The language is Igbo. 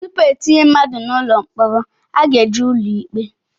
Tupu etinye mmadụ n'ụlọ mkpọrọ a ga-eje ụlọ ikpe